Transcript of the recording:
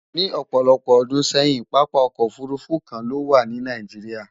Ni òpòlopò odún séyìn, papa okò òfurufú kan lówà ní Nigeria.